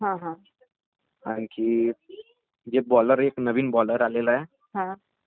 खूप सारे विकेट घेतल्यात त्यांनी...तर मेन म्हणजे क्रिकेटचा पाया राहाते....